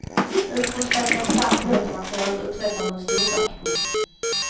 Utrustad med ett starkt låtmaterial uträttar hon storverk. punkt